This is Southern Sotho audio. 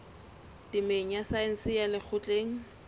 temeng ya saense ya lekgotleng